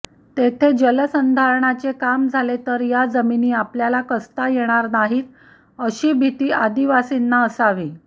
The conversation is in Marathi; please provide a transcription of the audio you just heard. तेथे जलसंधारणाचे काम झाले तर या जमिनी आपल्याला कसता येणार नाहीत अशी भीती आदिवासींना असावी